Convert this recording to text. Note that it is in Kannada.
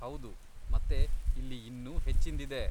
ಹೌದು, ಮತ್ತೆ ಇಲ್ಲಿ ಇನ್ನೂ ಹೆಚ್ಚಿಂದಿದೆ.